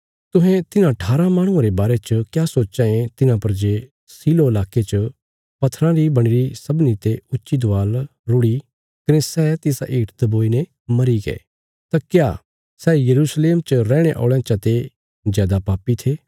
तुहें तिन्हां ठारा माहणुआं रे बारे च क्या सोचां ये तिन्हां पर जे शीलोह लाके च पथराँ री बणीरी सबनीं ते ऊच्ची दवाल रुढ़ि कने सै तिसा हेठ दबोईने मरीग्ये तां क्या सै यरूशलेम च रैहणे औल़यां चा ते जादा पापी थे